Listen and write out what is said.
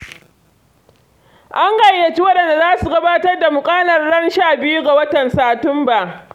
An gayyaci waɗanda da za su gabatar da muƙalar ran shabiyu ga watan Satumba.